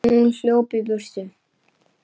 Hún hljóp í burtu.